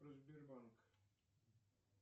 про сбербанк